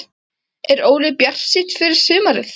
Er Óli bjartsýnn fyrir sumarið?